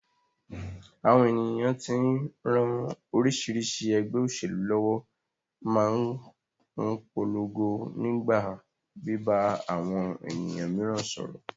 Àwọn ènìyàn tí ń ran oríṣiríṣi ẹgbẹ́ òṣèlú lọ́wọ́ máa ń polongo nípa bíbá àwọn ènìyàn mìíràn sọ̀rọ̀